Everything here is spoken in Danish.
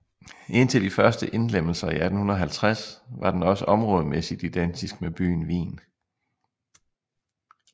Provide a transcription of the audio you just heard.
Indtil de første indlemmelser i 1850 var den også områdemæssigt identisk med byen Wien